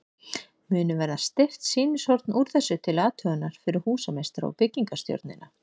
Munu verða steypt sýnishorn úr þessu til athugunar fyrir húsameistara og byggingarstjórnina.